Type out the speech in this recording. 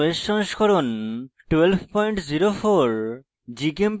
ubuntu linux os সংস্করণ 1204